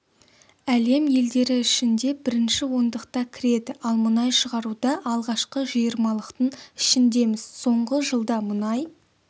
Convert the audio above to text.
әлем елдері ішінде бірінші ондықта кіреді ал мұнай шығаруда алғашқы жиырмалықтың ішіндеміз соңғы жылда мұнай